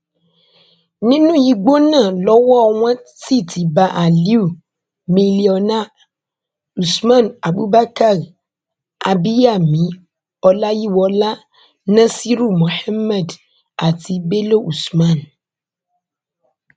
nínú igbó náà lowó wọn sì ti bá aliu milliona usman abubakar abiyami ọláyíwọlá nasiru muhammed àti bello usman